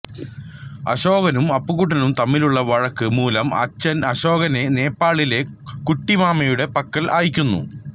അശോകനും അപ്പുകുട്ടനും തമ്മിലുള്ള വഴക്ക് മൂലം അച്ഛൻ അശോകനെ നേപ്പാളിലെ കുട്ടിമാമയുടെ പക്കൽ അയ്ക്കുന്നു